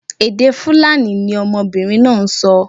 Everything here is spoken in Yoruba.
Èdè Fulani ni ọmọbinrin naa n sọ